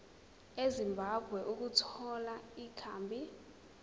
ezimbabwe ukuthola ikhambi